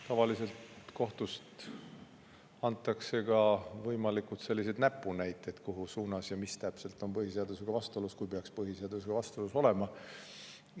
Tavaliselt annab kohus võimalikud näpunäited, mis täpselt on põhiseadusega vastuolus, kui peaks vastuolu olema.